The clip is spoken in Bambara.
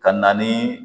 Ka na ni